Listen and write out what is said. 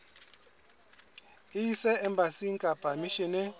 e ise embasing kapa misheneng